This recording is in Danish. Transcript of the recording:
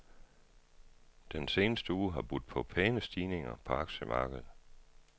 Den seneste uge har budt på pæne stigninger på aktiemarkedet.